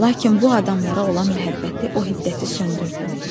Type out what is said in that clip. Lakin bu adamlara olan məhəbbəti o hiddəti söndürdü.